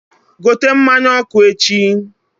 gote mmanya ọkụ echi!